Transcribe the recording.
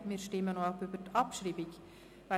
Wir stimmen noch über die Abschreibung ab.